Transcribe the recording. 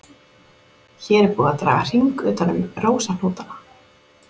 Hér er búið að draga hring utan um rósahnútana.